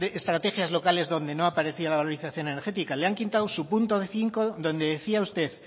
estrategias locales donde no aparecía la valorización energética le han quitado su punto cinco donde decía usted